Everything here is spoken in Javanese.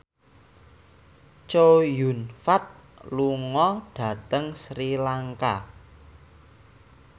Chow Yun Fat lunga dhateng Sri Lanka